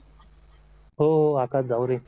हो हो आकाश जावरे